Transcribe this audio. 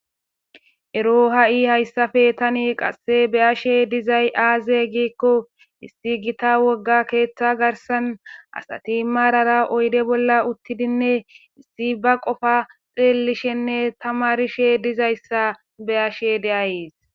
Ero ha'i hayssafe tani qasse be ashe dizay aaze giikko issi gita wogga keeththa garsan asati maarara oyde bolla uttidinne issi ba qofa xeelishenne tama rishe dizayssa be ashe deayees.